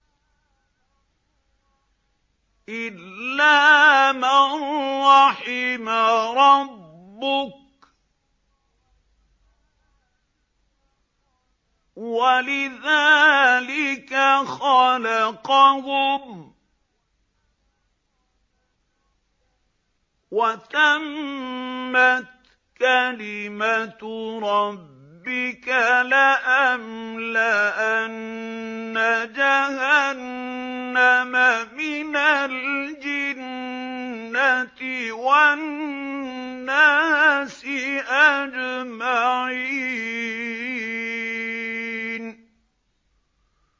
إِلَّا مَن رَّحِمَ رَبُّكَ ۚ وَلِذَٰلِكَ خَلَقَهُمْ ۗ وَتَمَّتْ كَلِمَةُ رَبِّكَ لَأَمْلَأَنَّ جَهَنَّمَ مِنَ الْجِنَّةِ وَالنَّاسِ أَجْمَعِينَ